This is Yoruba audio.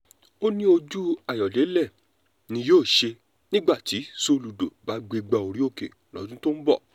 ó ní ojú ayọ̀dẹ̀lẹ̀ ni yóò ṣe nígbà tí soludo bá gbégbá orókè lọ́dún tó ń bọ̀